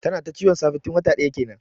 Tana ta ciwon safe tun wata daya kenan.